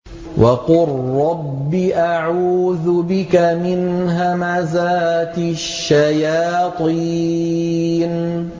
وَقُل رَّبِّ أَعُوذُ بِكَ مِنْ هَمَزَاتِ الشَّيَاطِينِ